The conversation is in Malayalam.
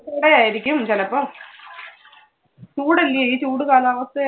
ചൂട് ആയിരിക്കും ചിലപ്പോ. ചൂട് അല്ലെ? ഈ ചൂട് കാലാവസ്ഥ